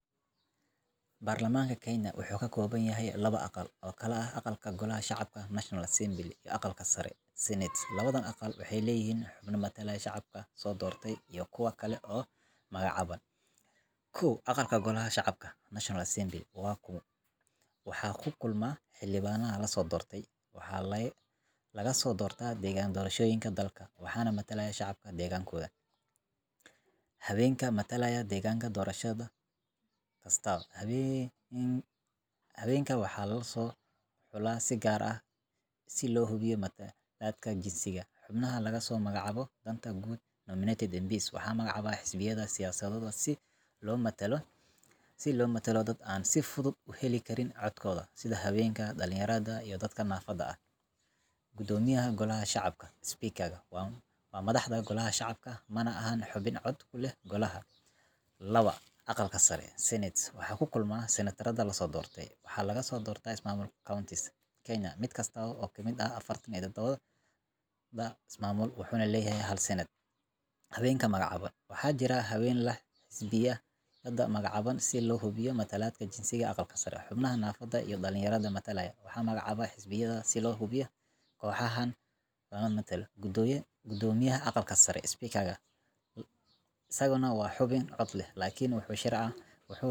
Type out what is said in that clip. Baarlamaanka Kenya wuxuu ka kooban yahay laba aqal oo kala ah Aqalka Golaha Shacabka National Assembly iyo Aqalka Sare Senate Labadan aqal waxay leeyihiin xubno matalaya shacabkii soo doortay iyo kuwo kale oo magacaaban. 1. Aqalka Golaha Shacabka National Assembly Waxaa ku kulma: Xildhibaannada la soo doortay: Waxaa laga soo doortaa deegaan doorashooyinka dalka, waxaana matalaya shacabka deegaankooda. Haweenka matalaya deegaan doorasho kasta: Haweenkan waxaa loo soo xulaa si gaar ah si loo hubiyo matalaadda jinsiga. Xubnaha laga soo magacaabo danta guud nominated MPs Waxaa magacaaba xisbiyada siyaasadeed si loo matalo dad aan si fudud u heli karin codkooda, sida haweenka, dhallinyarada, iyo dadka naafada ah. Gudoomiyaha Golaha Shacabka Speaker Waa madaxda Golaha Shacabka, mana ahan xubin cod ku leh golaha. 2. Aqalka Sare Senate Waxaa ku kulma Senatarrada la soo doortay: Waxaa laga soo doortaa ismaamullada counties Kenya, mid kasta oo ka mid ah 47-da ismaamul wuxuu leeyahay hal Senatar. Haweenka magacaaban Waxaa jira haween ay xisbiyadu magacaabaan si loo hubiyo matalaadda jinsiga ee Aqalka Sare.